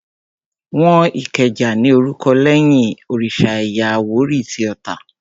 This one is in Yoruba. Wọ́n Ìkẹjà ní orúkọ lẹ́yìn òrìsà ẹ̀yà àwórì tí Ota